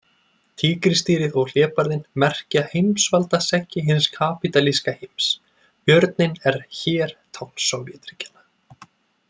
Tígrisdýrið og Hlébarðinn merkja heimsvaldaseggi hins kapítalíska heims, Björninn er hér tákn Sovétríkjanna.